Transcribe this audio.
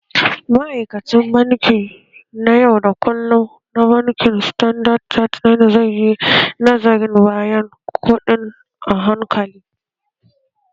Ma'aikacin banki na yau da kullum na bankin standard chartered zai yi nazarin bayanan kuɗin a hankali